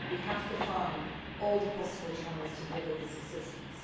workers. We have to find all the possible channels for delivering this assistance.